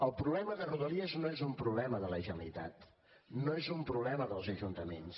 el problema de rodalies no és un problema de la generalitat no és un problema dels ajuntaments